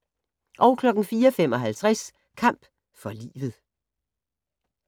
04:55: Kamp for livet